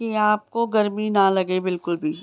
यहां आपको गर्मी न लगे बिल्कुल भी।